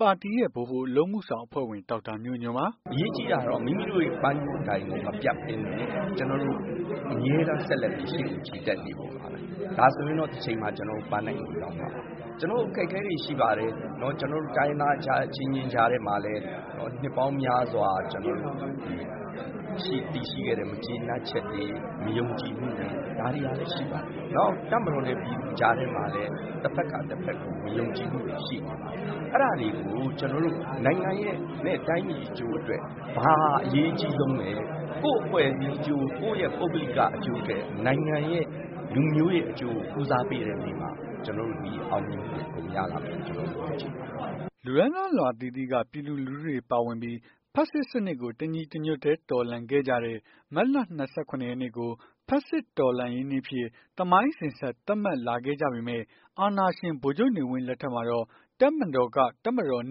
ပါတီ ဗဟိုအလုပ် အမှုဆောင် အဖွ့ဲဝင် ဒေါက်တာမျိုးညွှန့်ပါ။ "အရေးကြီးတာတော့ မိမိတို့ပန်းတိုင်ကို မပြတ်ဘဲနဲ့ ကျွန်တော်တို့အမြဲတမ်းရှေ့ကို ဆက်လက်ပြီး ချီတက်နေဖို့ ပါပဲ။ ဒါဆိုရင်တော့ တချိန်မှာကျွန်တော်တို့ ပန်းတိုင်ကို ရောက်မှာပါ။ ကျွန်တော်တို့အခက်အခဲတွေရှိပါတယ်။ ကျွန်တော်တို့ တိုင်းရင်းသား အချင်းချင်းကြားထဲမှာလည်း နှစ်ပေါင်းများစွာ တည်ရှိခဲ့တဲ့ မကျေနပ်ချက်တွေ မယုံကြည်မှုတွေ ဒါတွေကလည်းရှိပါတယ်။ နောက်တပ်မတော် နဲ့ပြည်သူကြား ထဲမှာလည်း တဖက်က တဖက်ကို မယုံကြည်မှုတွေ ရှိနေပါတယ်။ အဲ့ဒါတွေကို နိုင်ငံနဲ့တိုင်းပြည်အကျိုးအတွက် ဘာအရေးအကြီးဆုံးလည်း ကိုယ့်အဖွဲ့အစည်းအကျိုး ကိုယ်ပုဂ္ဂလိကအကျိုးထက် နိုင်ငံနဲ့လူမျိုးရဲ့အကျိုးကို ဦးစားပေးတဲ့နေ့မှ ကျွန်တော်တို့ အောင်မြင်မှုတွေ အကုန်ရလာမယ်လို့ ကျွန်တော်တို့ယုံကြည်ပါတယ်။" လူတန်းစားအလွှာအသီးသီးက ပြည်သူလူထုတွေ ပါဝင်ပြီး ဖက်ဆစ်စနစ်ကို တညီတညွတ်တည်း တော်လှန်ခဲ့ကြတဲ့ မတ်လ ၂၇ ရက်နေ့ကို “ဖက်ဆစ်တော်လှန်ရေးနေ့” အဖြစ် သမိုင်းအစဉ်အဆက် သတ်မှတ်လာခဲ့ကြပေမဲ့၊ အာဏာရှင် ဗိုလ်ချုပ်နေဝင်း လက်ထက်မှာတော့ တပ်မတော်က “တပ်မတော်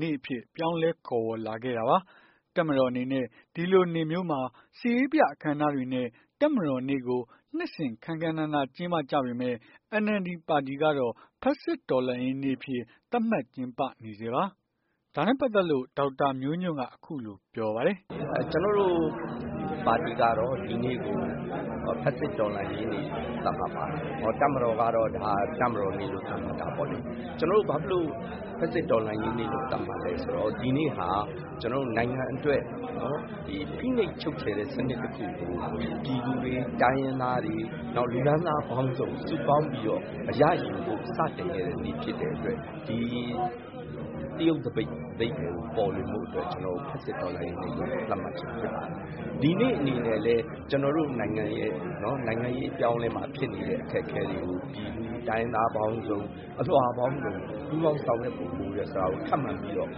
နေ့” အဖြစ် ခေါ်ဝေါ်လာခဲ့ပါတယ်။ တပ်မတော် အနေနဲ့ ဒီလိုနေ့မျိုးမှာ စစ်ရေပြအခမ်းအနားတွေ နဲ့ တပ်မတော်နေ့ကို နှစ်စဉ် ခမ်းခမ်းနားနား ကျင်းပကြပေမဲ့၊ NLD ပါတီကတော့ ဖက်ဆစ်တော်လှန်ရေးနေ့ အဖြစ် သတ်မှတ်ကျင်းပနေဆဲပါ။ ဒါနဲ့ပတ်သက်လို့ ဒေါက်တာမျိုးညွှန့်က ခုလိုပြောပါတယ်။ "ကျွန်တော်တို့ပါတီကတော့ ဒီနေ့ကို ဖက်ဆစ်တော်လှန်ရေးနေ့လို့ သတ်မှတ်ပါတယ်။ တပ်မတော်ကတော့ တပ်မတော်နေ့လို့ သတ်မှတ်တာပေါ့။ ကျွန်တော်တို့ဘာဖြစ်လို့ ဖက်ဆစ်တော်လှန်ရေးနေ့ သတ်မှတ်လည်း ဆိုရင် ဒီနေ့ဟာ နိုင်ငံအတွက် ဖိနှိပ်ချုပ်ချယ်တဲ့ စနစ်တခုကို ပြည်သူတွေ တိုင်းရင်းသားတွေ နောက် လူတန်းစားပေါင်းစုံ စုပေါင်းပြီးတော့ စတင်ခဲ့တဲ့နေ့ဖြစ်တဲ့အတွက် ဒီသရုပ်အဓိပ္ပါယ်ကို ပေါ်လွင်ဖို့ အတွက် ဖက်ဆစ်တော်လှန်ရေးနေ့လို့ သတ်မှတ်ခြင်းဖြစ်ပါတယ်။ ဒီနေ့အနေနဲ့ လည်း ကျွန်တော်တို့ နိုင်ငံရဲ့ နိုင်ငံရေးအပြောင်းအလဲမှာဖြစ်နေတဲ့ အခက်အခဲတွေကို ပြည်သူတိုင်းရင်းသား ပေါင်းစုံ အလွှာပေါင်းစုံ ပူးပေါင်း ဆောင်ရွက်ဖို့ လိုတယ်ဆိုတာကို ထပ်မံပြီးတော့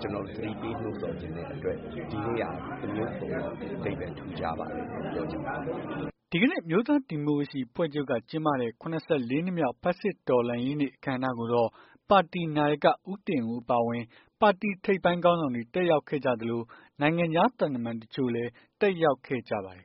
ကျွန်တော်တို့ သတိပေး နှိုးဆော်ချင်တဲ့အတွက် ဒီနေ့ဟာ တမျိုးတဖုံပေါ့ အဓိပ္ပါယ်ထူးခြားပါတယ်လို့ ပြောချင်ပါတယ်။" ဒီကနေ့အမျိုးသားဒီမိုကရေစီ အဖွဲ့ချုပ်ကကျင်းပတဲ့ ၇၄ နှစ်မြောက် ဖက်ဆစ်တော်လှန်ရေးနေ့ အခမ်းအနား ကိုတော့ ပါတီနာယက ဦးတင်ဦးအပါအဝင် ပါတီထိပ်ပိုင်းခေါင်းဆောင်တွေ တက်ရောက်ခဲ့ကြသလို၊ နိုင်ငံခြား သံတမန် တချို့လည်း တက်ရောက်ခဲ့ကြပါတယ်